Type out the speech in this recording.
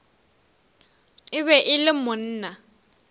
e be e le monna